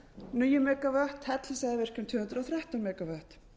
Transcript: níu megavatt hellisheiðarvirkjun tvö hundruð og þrettán megavatt